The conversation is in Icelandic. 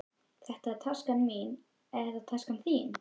Þetta er taskan mín. Er þetta taskan þín?